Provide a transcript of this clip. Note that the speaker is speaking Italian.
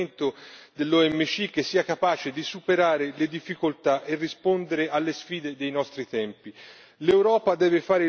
Dovrà sollecitare un ripensamento dell'OMC, che sia capace di superare le difficoltà rispondere alle sfide dei nostri tempi.